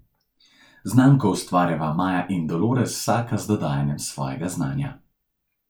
Znamko ustvarjava Maja in Dolores, vsaka z dodajanjem svojega znanja.